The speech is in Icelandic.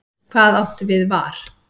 Hvað áttu við var?